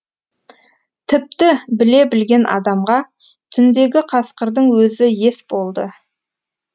тіпті біле білген адамға түндегі қасқырдың өзі ес болды